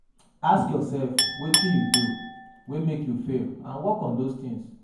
Ask yourself wetin you do wey make you fail and work on di things